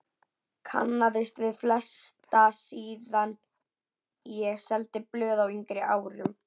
Kannaðist við flesta síðan ég seldi blöð á yngri árum.